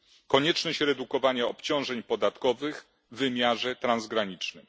Konieczność redukowania obciążeń podatkowych w wymiarze transgranicznym.